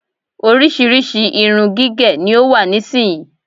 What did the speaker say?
Oríṣríṣi irú irun gígẹ ni ó wà nísìyí.